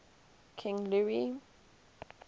king louis